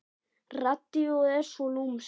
Radíóið er svo lúmskt.